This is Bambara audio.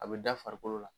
A bɛ da farikolo la